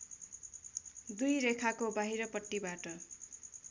दुई रेखाको बाहिरपट्टिबाट